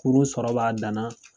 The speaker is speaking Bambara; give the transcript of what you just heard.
Kuru sɔrɔ b'a dan na.